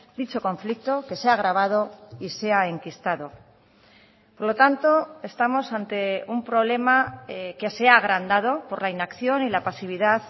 dicho conflicto que se ha agravado y se ha enquistado por lo tanto estamos ante un problema que se ha agrandado por la inacción y la pasividad